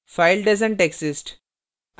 file doesn t exist